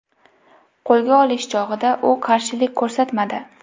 Qo‘lga olish chog‘ida u qarshilik ko‘rsatmadi.